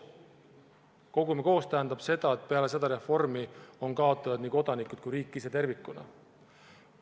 "Kogume koos" tähendab seda, et peale seda reformi on kaotanud nii kodanikud kui ka riik ise tervikuna.